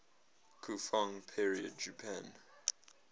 kofun period japan